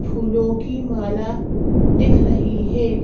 फूलों की माला दिख रही है।